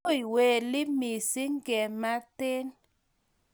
tui weli mising ngemanten